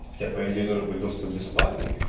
хотя по идее должен быть доступ бесплатный